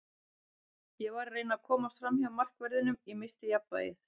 Ég var að reyna að komast framhjá markverðinum, ég missti jafnvægið.